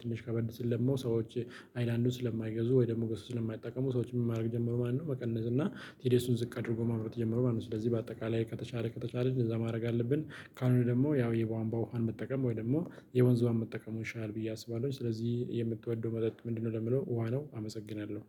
ትንሽ ከበድ ሲል ደግሞ ሰዎች ሀይላንዱን ስለማይገዙ ወይ ደግሞ በሱ ስለማይጠቀሙ ሰዎች ምን ማድረግ ጀመሩ ማለት ነው መቀነስ እና ቲዲኤሱን ዝቅ አድርጎ ማምረት ጀመሩ ማለት ነው። ስለዚህ በአጠቃላይ ከተቻለ ከተቻለ እንደዛ ማድረግ አለብን ካልሆነ ደግሞ ያው የቧንቧ ውሃን መጠቀም ወይ ደግሞ የወንዝ ውሃን መጠቀሙ ይሻላል ብዬ አስባለሁ ስለዚህ የምትወደው መጠጥ ምንድነው? ለሚለው ውሃ ነው። አመሰግናለሁ።